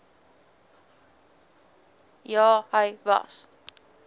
ja hy was